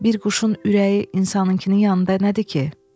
Bir quşun ürəyi insanınkının yanında nədir ki?